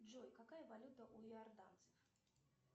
джой какая валюта у иорданцев